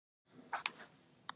Er einhver lasinn?